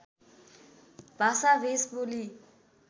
भाषा भेष बोली